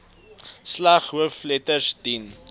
slegs hoofletters dien